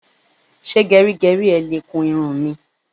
Ṣé gẹrígẹrí ẹ le kun irun mi?